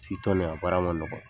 a baara ma nɔgɔn